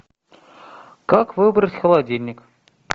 как выбрать холодильник